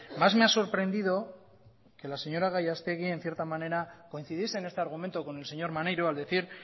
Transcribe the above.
más me ha sorprendido que la señora gallastegui en cierta manera coincidiese en este argumento con el señor maneiro al decir